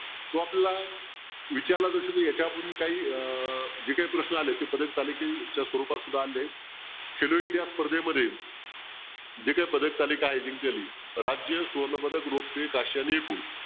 तो आपला यांच्यापूर्वी काही अह जे काही प्रश्न आलेत की ते याच्या स्वरूपात आलेत स्पर्धेमध्ये पदकतालिका आहे जिंकलेली राजकीय सुवर्णपदक